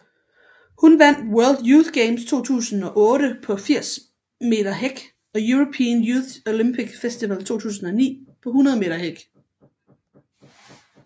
Hun vandt World Youth Games 2008 på 80 meter hæk og European Youth Olympic Festival 2009 på 100 meter hæk